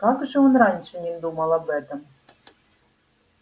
как же он раньше не думал об этом